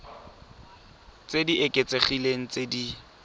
tse di oketsegileng tse di